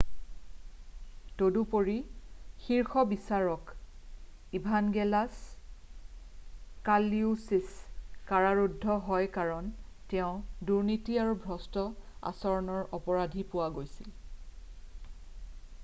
তদুপৰি শীৰ্ষ বিচাৰক ইভানগেলছ কালউছিছ কাৰাৰুদ্ধ হয় কাৰণ তেওঁ দুৰ্নীতি আৰু ভ্ৰষ্ট আচৰণৰ অপৰাধী পোৱা গৈছিল৷